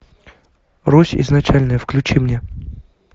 русь изначальная включи мне